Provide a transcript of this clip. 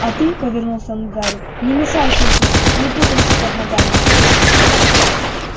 а ты повернулся он к гарри не мешай тётушке не путайся под ногами